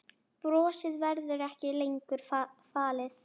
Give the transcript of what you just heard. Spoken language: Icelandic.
Brosið verður ekki lengur falið.